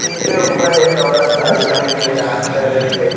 इसके ऊपर एक औरत साड़ी पहन के डांस कर रही है।